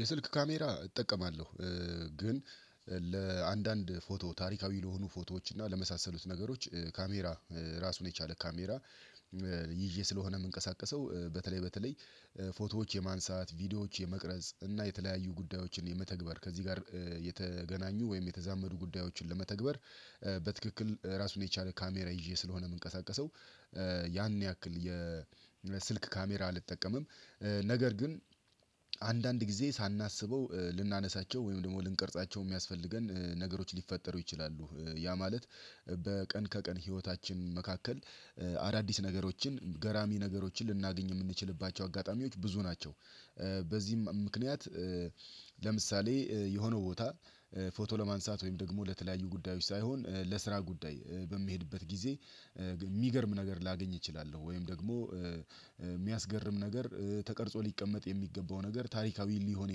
የስልክ ካሜራ እጠቀማለሁ ግን ለአንዳንድ ፎቶ ታሪካዊ ለሆኑ ፎቶዎች እና ለመሳሰሉት ነገሮች ካሜራ ራሱን የቻለ ካሜራ። ይዤ ስለሆነ የምንቀሳቀሰው በተለይ በተለይ ፎቶዎች የማንሳት ቪዲዮዎች የመቅረጽ እና የተለያዩ ጉዳዮችን የመተግበር ከዚህ ጋር የተገናኙ ወይም የተዛመዱ ጉዳዮችን ለመተግበር በትክክል ራሱን የቻለ ካሜራ ይዤ ስለሆነ የምንቀሳቀሰው ያን ያክል የስልክ ካሜራ አልጠቀምም። ነገር ግን አንዳንድ ጊዜ ሳናስበው ልናነሳቸው ወይም ደግሞ ልንቀርጻቸው የሚያስፈልገን ነገሮች ሊፈጠሩ ይችላሉ ያ ማለት በቀን ከቀን ህይወታችን መካከል አዳዲስ ነገሮችን ገራሚ ነገሮችን ልናገኝ የምንችልባቸው አጋጣሚዎች ብዙ ናቸው። በዚህም ምክንያት ለምሳሌ የሆነ ቦታ ፎቶ ለማንሳት ወይም ደግሞ ለተለያዩ ጉዳዮች ሳይሆን ለስራ ጉዳይ በሚሄድበት ጊዜ የሚገርም ነገር ላገኝ እችላለሁ ወይም ደግሞ የሚያስገርም ነገር ተቀርጾ ሊቀመጥ የሚገባው ነገር ታሪካዊ ሊሆን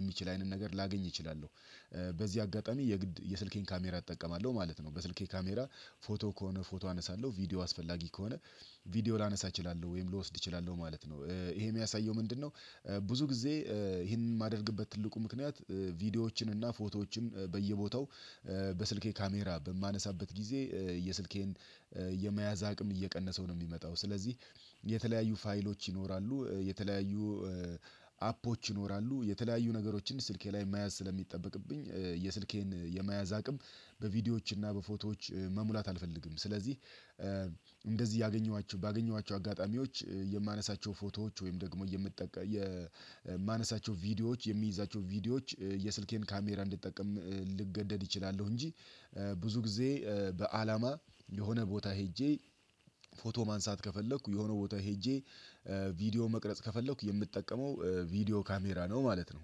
የሚችል አይነት ነገር ላገኝ እችላለሁ። በዚህ አጋጣሚ የጊድ የስልኬን ካሜራ እጠቀማለሁ ማለት ነው። በስልኬ ካሜራ ፎቶ ከሆነ ፎቶ አነሳለሁ ቪዲዮ አስፈላጊ ከሆነ ቪዲዮ ላነሳ እችላለሁ ወይም ልወስድ እችላለሁ ማለት ነው ይሄ የሚያሳየው ምንድነው? ብዙ ጊዜ ይሄንን የማደርግበት ትልቁ ምክንያት ቪዲዮዎችን እና ፎቶዎችን በየቦታው በስልኬ ካሜራ በማነሳበት ጊዜ የስልኬን የመያዝ አቅም እየቀነሰው ነው። የሚመጣው ስለዚህ የተለያዩ ፋይሎች ይኖራሉ የተለያዩ አፖች ይኖራሉ የተለያዩ ነገሮችን ስልኬ ላይ መያዝ ስለሚጠበቅብኝ የስልኬን የመያዝ አቅም በቪዲዮዎችና በፎቶዎች መሙላት አልፈልግም። ስለዚህ እንደዚህ ያገኘኋቸው ባገኘኋቸው አጋጣሚዎች የማነሳቸው ፎቶዎች ወይም ደግሞ የምጠቀም የማነሳቸው ቪዲዮዎች የሚይዛቸው ቪዲዮዎች የስልኬን ካሜራ እንድጠቀም ልገደድ እችላለሁ። እንጂ ብዙ ጊዜ በአላማ የሆነ ቦታ ሄጄ ፎቶ ማንሳት ከፈለኩ የሆነ ቦታ ሄጄ ቪዲዮ መቅረጽ ከፈለኩ የምጠቀመው ቪዲዮ ካሜራ ነው ማለት ነው።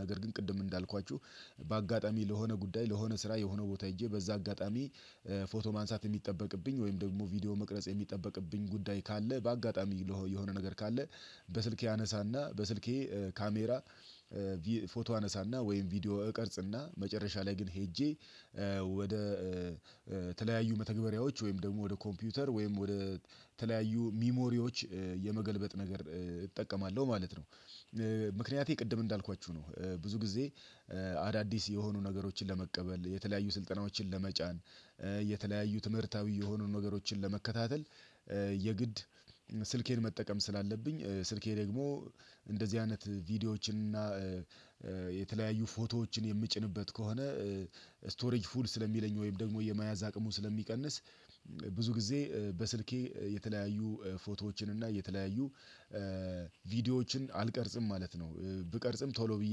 ነገር ግን ቅድም እንዳልኳችሁ በአጋጣሚ ለሆነ ጉዳይ ለሆነ ስራ የሆነ ቦታ ሄጄ በዚያ አጋጣሚ ፎቶ ማንሳት የሚጠበቅብኝ ወይም ደግሞ ቪዲዮ መቅረጽ የሚጠበቅብኝ ጉዳይ ካለ በአጋጣሚ የሆነ ነገር ካለ በስልኬ አነሳና በስልኬ ካሜራ ፎቶ አነሳና ወይም ቪዲዮ እቀርጽና መጨረሻ ላይ ግን ሄጄ ወደ ተለያዩ መተግበሪያዎች ወይም ደግሞ ወደ ኮምፒውተር ወይም ወደ ተለያዩ ሚሞሪዎች የመገልበጥ ነገር እጠቀማለሁ ማለት ነው። ምክንያቴ ቅድም እንዳልኳችሁ ነው ብዙ ጊዜ አዳዲስ የሆኑ ነገሮችን ለመቀበል የተለያዩ ስልጠናዎችን ለመጫን የተለያዩ ትምህርታዊ የሆኑ ነገሮችን ለመከታተል የግድ ስልኬን መጠቀም ስላለብኝ ስልኬ ደግሞ እንደዚህ አይነት ቪዲዮዎችን እና የተለያዩ ፎቶዎችን የምጭንበት ከሆነ ስቶሪጅ ፉል ስለሚለኝ ወይም ደግሞ የመያዝ አቅሙን ስለሚቀንስ ብዙ ጊዜ በስልኬ የተለያዩ ፎቶዎችን እና የተለያዩ ቪዲዮዎችን አልቀርጽም ማለት ነው። ብቀርጽም ቶሎ ብዬ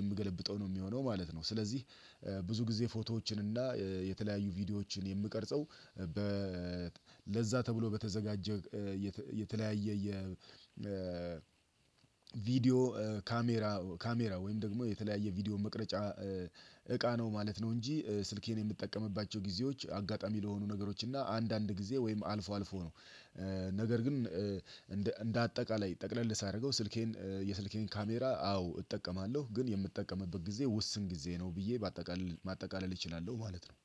የምገለብጠው ነው የሚሆነው ማለት ነው። ስለዚህ ብዙ ጊዜ ፎቶዎችን እና የተለያዩ ቪዲዮዎችን የምቀርጸው በ ለዚያ ተብሎ በተዘጋጀ የተለያየ የ ቪዲዮ ካሜራ ካሜራው ወይም ደግሞ የተለያየ ቪዲዮ መቅረጫ እቃ ነው ማለት ነው። እንጂ ስልኬን የምጠቀምባቸው ጊዜዎች አጋጣሚ ለሆኑ ነገሮች እና አንዳንድ ጊዜ ወይም አልፎ አልፎ ነው። ነገር ግን እንደ እንደ አጠቃላይ ጠቅለል ሳደርገው ስልኬን የስልኬን ካሜራ አዎ እጠቀማለሁ ግን የምጠቀምበት ጊዜ ውስን ጊዜ ነው ብዬ በአጠቃላይ ማጠቃለል እችላለሁ ማለት ነው